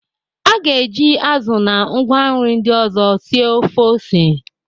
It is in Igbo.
A ga-eji azụ na ngwa nri ndị ọzọ sie ofe ose.